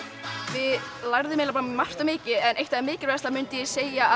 við lærðum margt og mikið en eitt af því mikilvægasta myndi ég segja